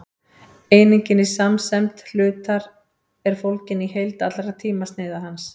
einingin í samsemd hlutar er fólgin í heild allra tímasneiða hans